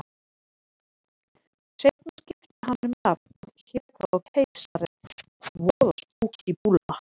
Seinna skipti hann um nafn og hét þá Keisarinn, voða spúkí búlla.